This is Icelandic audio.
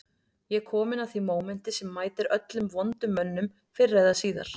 Ég er kominn að því mómenti sem mætir öllum vondum mönnum fyrr eða síðar